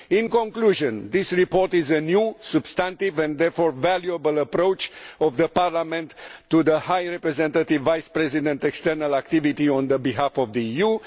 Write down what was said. In conclusion, this report is a new, substantive and therefore valuable approach by the Parliament to the High Representative Vice President's external activity on behalf of the EU.